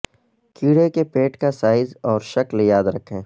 کیڑے کے پیٹ کا سائز اور شکل یاد رکھیں